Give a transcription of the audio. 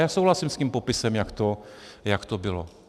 Já souhlasím s tím popisem, jak to bylo.